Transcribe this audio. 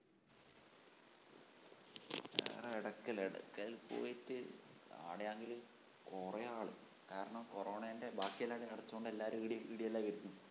വേറെ എടക്കൽ എടക്കൽ പോയിട്ട് അവിടെയാണെങ്കില് കൊറേ ആള് കാരണം കോറോണേന്റെ ബാക്കിയെല്ലാടോം അടച്ചോണ്ട് എല്ലാരും ഇവിടെയല്ലേ വരുന്നത്